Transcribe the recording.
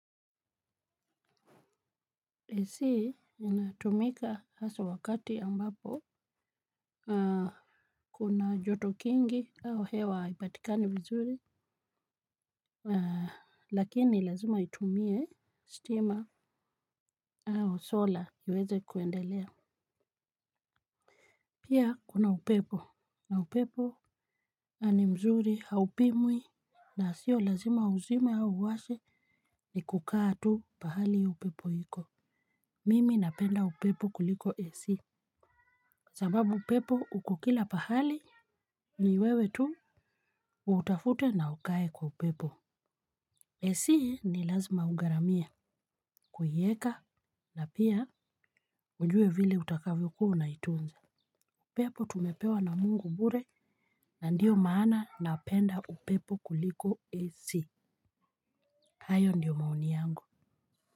AC inatumika haswa wakati ambapo kuna joto kingi au hewa haipatikani vizuri. Lakini lazima itumie stima. Au sola iweze kuendelea. Pia kuna upepo na upepo na ni mzuri haupimwi. Na sio lazima uzime au uwashe ni kukaa tu pahali upepo iko. Mimi napenda upepo kuliko AC sababu upepo uko kila pahali. Ni wewe tu. Utafute na ukae kwa upepo AC ni lazima ugharamie kuieka na pia ujule vile utakavyokuwa unaitunza. Upepo tumepewa na mungu bure. Na ndio maana napenda upepo kuliko AC. Hayo ndio maoni yangu.